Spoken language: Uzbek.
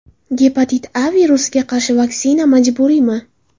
Gepatit A virusiga qarshi vaksina majburiymi?